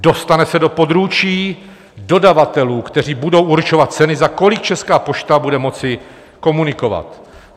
Dostane se do područí dodavatelů, kteří budou určovat ceny, za kolik Česká pošta bude moci komunikovat.